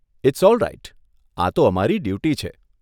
It's alright આ તો અમારી ડ્યૂટી છે.